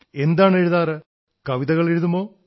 എന്താണെഴുതാറ് കവിതകളെഴുതുമോ